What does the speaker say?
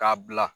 K'a bila